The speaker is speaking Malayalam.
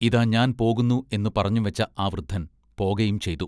ഇതാ ഞാൻ പോകുന്നു എന്നു പറഞ്ഞുംവെച്ച ആ വൃദ്ധൻ പോകയും ചെയ്തു.